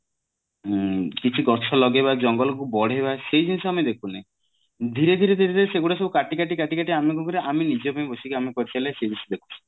ଉଁ କିଛି ଗଛ ଲଗେଇବା ଜଙ୍ଗଲ କୁ ବେଢେଇବା ସେ ଜିନିଷ ଆମେ ଦେଖୁନେ ଧୀରେ ଧୀରେ ଧୀରେ ଧିରେ ସେଇଗୁଡା ସବୁ କାଟି କାଟି କାଟି କାଟି ଆମେ କଣ କରିବା ଆମ ନିଜ ପାଇଁ ବସି କରି ଚାଲିଲେ ସେଇ ଜିନିଷ ଦେଖୁଛେ